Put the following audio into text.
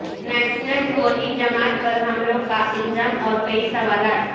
national Tawheed Jamaat پر حملوں کا الزام اور کئی سوالات